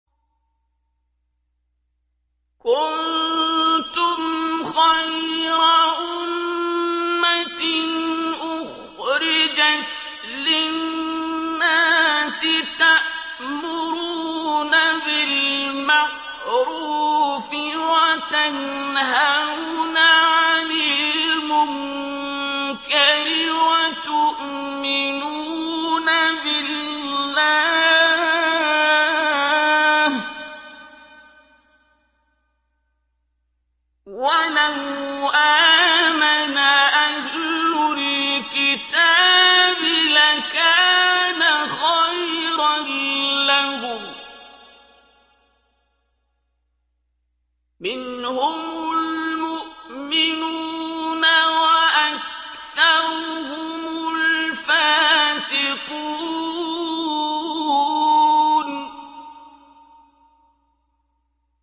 كُنتُمْ خَيْرَ أُمَّةٍ أُخْرِجَتْ لِلنَّاسِ تَأْمُرُونَ بِالْمَعْرُوفِ وَتَنْهَوْنَ عَنِ الْمُنكَرِ وَتُؤْمِنُونَ بِاللَّهِ ۗ وَلَوْ آمَنَ أَهْلُ الْكِتَابِ لَكَانَ خَيْرًا لَّهُم ۚ مِّنْهُمُ الْمُؤْمِنُونَ وَأَكْثَرُهُمُ الْفَاسِقُونَ